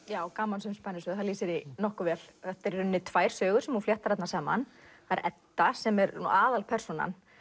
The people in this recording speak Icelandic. já gamansöm spennusaga lýsir því nokkuð vel þetta eru í rauninni tvær sögur sem hún fléttar saman það er Edda sem er aðalpersónan